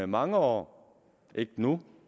mange år ikke nu